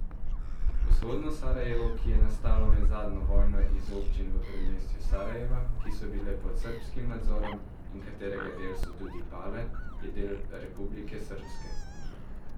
Vzhodno Sarajevo, ki je nastalo med zadnjo vojno iz občin v predmestju Sarajeva, ki so bile pod srbskim nadzorom, in katerega del so tudi Pale, je del Republike srbske.